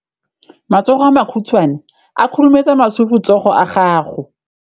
Matsogo a makhutshwane a khurumetsa masufutsogo a gago.